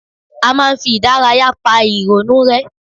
A máa ń fi ìdárayá pa ìrònú rẹ́